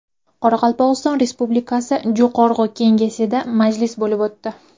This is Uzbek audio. Qoraqalpog‘iston Respublikasi Jo‘qorg‘i Kengesida majlis bo‘lib o‘tdi.